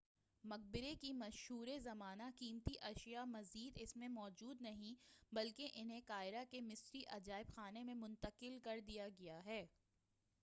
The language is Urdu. مقبرے کی مشہورِ زمانہ قیمتی اشیاء مزید اس میں موجود نہیں بلکہ انہیں قاہرہ کے مصری عجائب خانے میں منتقل کر دیا گیا ہے